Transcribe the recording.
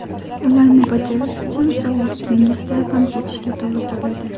Ularni bajarish uchun sog‘lig‘ingizdan ham kechishga to‘g‘ri keladi.